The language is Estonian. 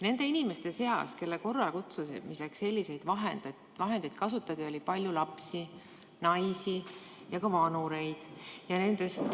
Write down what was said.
Nende inimeste seas, kelle korralekutsumiseks selliseid vahendeid kasutati, oli palju lapsi, naisi ja ka vanureid.